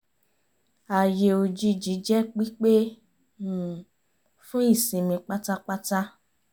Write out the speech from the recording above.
ààyè òjijì jẹ́ pípé um fún ìsinmi pátápátá